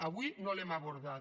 avui no l’hem abordat